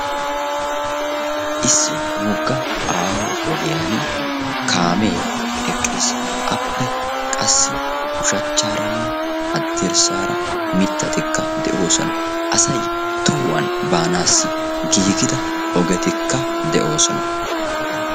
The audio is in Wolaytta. Issi woggaa aaho ogiyaan kaamee eqqiis. appe ushshaaranne haddirassaara mittatikka de'oosona. asay tohuwaan baanawu giigida ogetikka de'oosona.